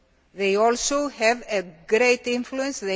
They also have a great influence.